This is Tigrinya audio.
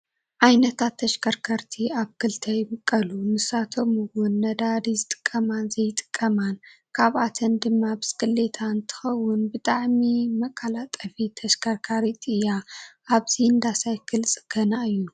ካብ ዓይነታት ተሽከርከርቲ ኣብ ክልተ ይምቀሉ ንሳቶም ነዳዲ ዝጥቀማን ዘይጥቀማን ካብኣተን ድማ ብስክሌት እንትከው ብጣዕሚ መቃላጠፊት ተሽከርካሪት እያ። ኣብዚ እንዳሳይል ፅገና እዩ።